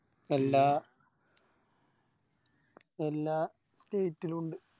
എല്ലാ എല്ലാ State ലു ഇണ്ട്